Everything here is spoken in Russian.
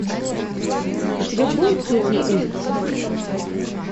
у тебя будет сотня улиц